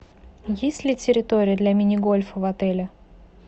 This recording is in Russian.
есть ли территория для мини гольфа в отеле